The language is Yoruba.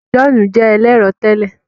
John jé ẹlẹrọ tèlé